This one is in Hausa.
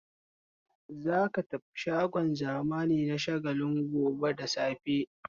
Za ka tafi shagon zamani na Shagalinku gobe da safe!